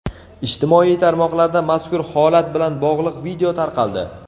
Ijtimoiy tarmoqlarda mazkur holat bilan bog‘liq video tarqaldi.